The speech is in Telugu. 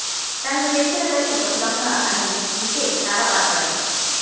తనను పెంచిన తల్లి ఒక దొంగ అని మిషే చాలా బాధపడింది